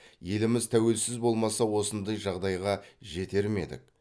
еліміз тәуелсіз болмаса осындай жағдайға жетер ме едік